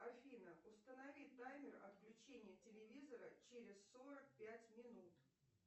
афина установи таймер отключения телевизора через сорок пять минут